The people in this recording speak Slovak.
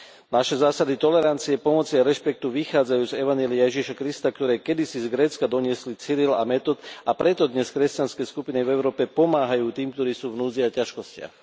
Naše zásady tolerancie, pomoci a rešpektu vychádzajú z evanjelia Ježiša Krista, ktoré kedysi z Grécka doniesli Cyril a Metod, a preto dnes kresťanské skupiny v Európe pomáhajú tým, ktorí sú v núdzi a ťažkostiach.